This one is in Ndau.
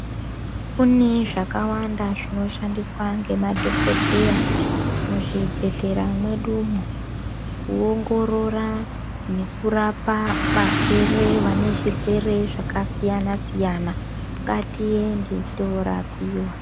Kune zvakawanda zvinoshandiswa ngemadhokodheya, muzvibhedhlera mwedumwo, kuongorora nekurapa varwere vane zvirwere zvakasiyana-siyana. Ngatiende toorapiwa.